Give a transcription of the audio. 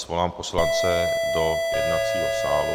Svolám poslance do jednacího sálu.